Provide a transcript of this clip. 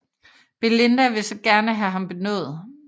Belinda vil så gerne have ham benådet